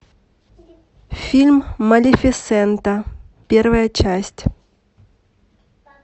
фильм малефисента первая часть